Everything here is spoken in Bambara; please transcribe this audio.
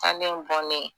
San ne bɔlen